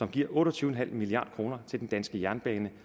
giver otte og tyve milliard kroner til den danske jernbane